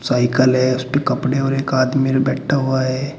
Cycle है उसपे कपड़े और एक आदमी बैठा हुआ है।